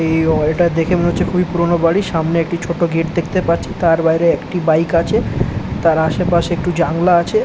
এই ওয়াল টা দেখে মনে হচ্ছে খুবই পুরনো বাড়ি সামনে একটি ছোট গেট দেখতে পাচ্ছি। তার বাইরে একটি বাইক আছে। তার আশেপাশে একটু জানালা আছে--